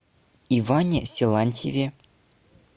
иване силантьеве